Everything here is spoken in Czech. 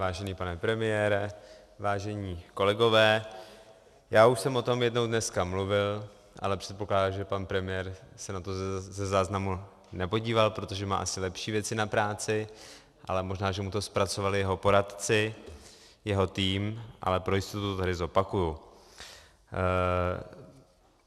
Vážený pane premiére, vážení kolegové, já už jsem o tom jednou dneska mluvil, ale předpokládám, že pan premiér se na to ze záznamu nepodíval, protože má asi lepší věci na práci, ale možná, že mu to zpracovali jeho poradci, jeho tým, ale pro jistotu to tady zopakuji.